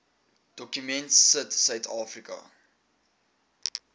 dokument sit suidafrika